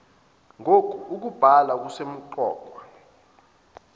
ng okubhalwa kusemqoka